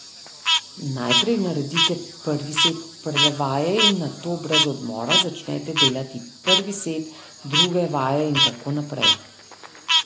Najprej naredite prvi set prve vaje in nato brez odmora začnete delati prvi set druge vaje in tako naprej.